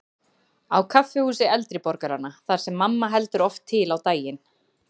Á kaffihúsi eldri borgaranna, þar sem mamma heldur oft til á daginn.